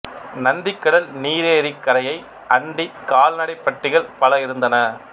நந்திக்கடல் நீரேரிக் கரையை அண்டி கால்நடைப் பட்டிகள் பல இருந்தன